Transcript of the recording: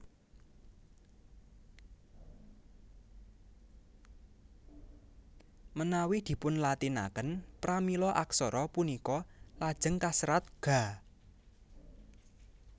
Manawi dipunlatinaken pramila aksara punika lajeng kaserat Gha